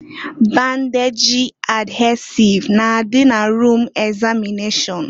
Bandejị adhesịve na-adị na rum egzamịneshọn.